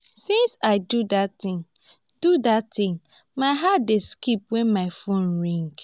since i do dat thing do dat thing my heart dey skip wen my phone ring